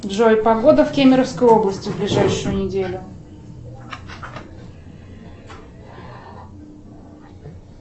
джой погода в кемеровской области в ближайшую неделю